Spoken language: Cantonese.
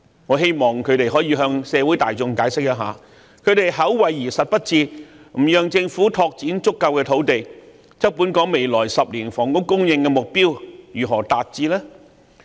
我希望他們可以向社會大眾解釋一下，他們口惠而實不至，不讓政府拓展足夠土地，那麼本港未來10年的房屋供應如何能達標呢？